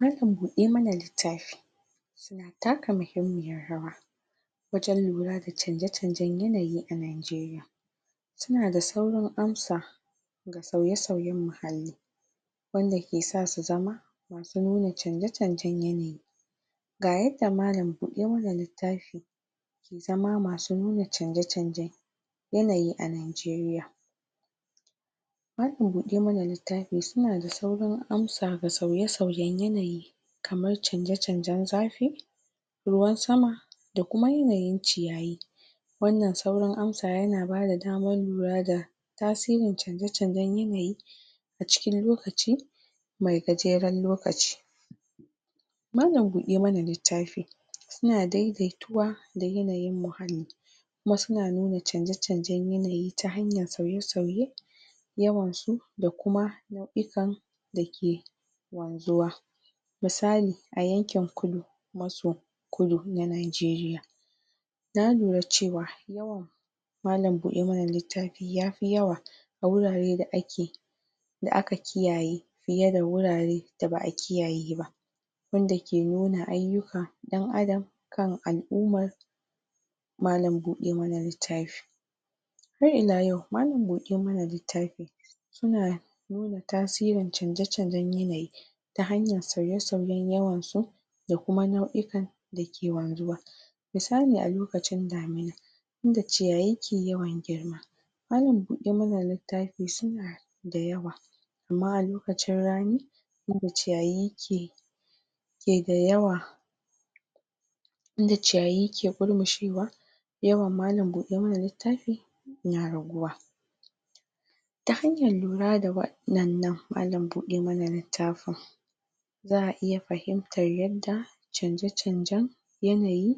Malam bude mana litafi suna taka muhimmiyar rawa wajen lura da chanje chanje yanayi a Nigeria suna da saurin amsa ga sauye sauye mahanni wanda ke sa zu zama masu nuna chanje chanjen yanayi ga yada malam bude mana litafi ke zama masu nuna chanje chanje yanayi a Nigeria malam bude mana litafi suna da saurin amsa ga sauyen sauyen yanayi kamar chanje chanjen zafi ruwan sama da kuma yanayin chiyayi wanan sauran amsa yana bada daman lura da tasirin chanje chanjen yanayi a cikin lokaci mai gajeren lokaci malam bude mana litafi suna dai daituwa da yanayin muhami kuma suna nuna chanje chanjen yanayi ta hanyar sauye sauye yawansu da kuma da ke wanzuwa misali misali a yakin kulu masu masu kulu, na Nigeria na lura cewa yawan malam bude mana litafi ya fi yawa a wurare da ake da aka kiyaye fiya da wurare da ba'a kiyaye ba wanda ke nuna ayuka dan adam kan al'umar malam bude mana litafi har ila yau malam bude mana litafi suna nuna tasirin chanje chanjen yanayi ta hanyar sauye sauyen yawan su da kuma nau ikan da ke wanzuwa misali a lokacin damina inda chiyayi ke yawan girma malam bude mana litafi suna da yawa ama a lokacin rani wanda chiyayi ke ke da yawa inda chiyayi ke kulmushewa yawan malam bude mana litafi na raguwa ta hanyar lura da wadan nan malam bude mana litafin za a iya fahimtar yada chanje chanjen yanayi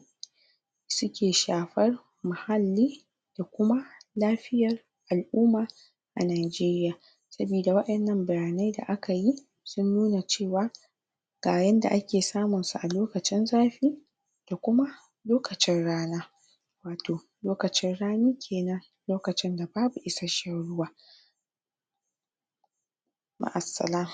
suke shafar maha'li da kuma lafiyar al'uma a Nigeria sabida wanan bayanai da aka yi sun nuna cewa ga yada ake samun su a lokacin zafi da kuma lokacin rana wato lokacin rani kenan lokacin da babu isa'shen ruwa ma'a sala